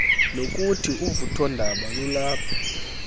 nokuthi uvuthondaba lulapha